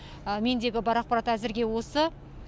мендегі бар ақпарат әзірге осы